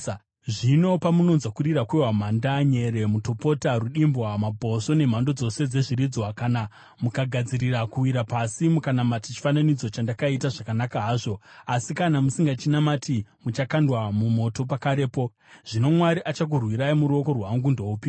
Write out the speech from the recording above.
Zvino pamunonzwa kurira kwehwamanda, nyere, mutopota, rudimbwa, mabhosvo nemhando dzose dzezviridzwa, kana mukagadzirira kuwira pasi, mukanamata chifananidzo chandakaita, zvakanaka hazvo. Asi kana musingachinamati, muchakandwa mumoto pakarepo. Zvino mwari achakurwirai muruoko rwangu ndoupiko?”